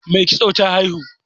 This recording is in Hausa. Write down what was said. Mai kitso ta haihu